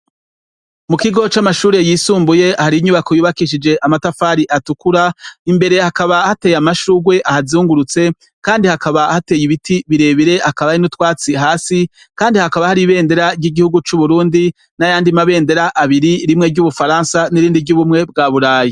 Mu kigo c'amashure yisumbuye hari inyubako yubakishije amatafari atukura imbere hakaba hateye amashurwe ahazungurutse Kandi hakaba hateye ibiti birebire ,hakaba hari n'utwatsi hasi Kandi hakaba hari ibendera ry'igihugu c'Uburundi n'ayandi mabendera abiri : rimwe ry'ubufaransa n'irindi ry'ubumwe bwa burayi.